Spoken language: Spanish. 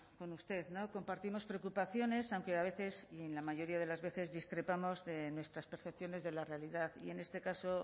con usted compartimos preocupaciones aunque a veces en la mayoría de las veces discrepamos de nuestras percepciones de la realidad y en este caso